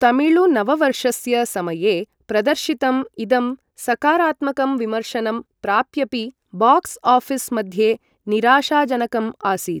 तमिळुनववर्षस्य समये प्रदर्शितम् इदं सकारात्मकं विमर्शनं प्राप्यापि बाक्स् आफिस् मध्ये निराशाजनकम् आसीत्।